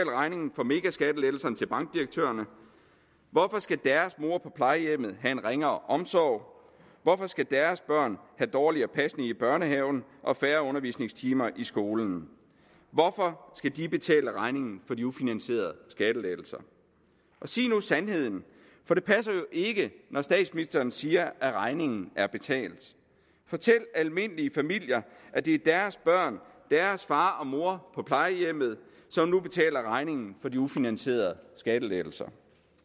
regningen for megaskattelettelserne til bankdirektørerne hvorfor skal deres mor på plejehjemmet have en ringere omsorg hvorfor skal deres børn have dårligere pasning i børnehaven og færre undervisningstimer i skolen hvorfor skal de betale regningen for de ufinansierede skattelettelser sig nu sandheden for det passer jo ikke når statsministeren siger at regningen er betalt fortæl almindelige familier at det er deres børn deres far og mor på plejehjemmet som nu betaler regningen for de ufinansierede skattelettelser